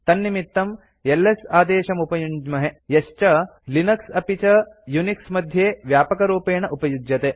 तन्निमित्तं एलएस आदेशमुपयुञ्ज्महे यश्च लिनक्स अपि च यूनिक्स मध्ये व्यापकरूपेण उपयुज्यते